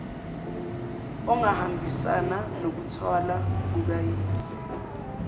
ongahambisani nokuthwala kukayise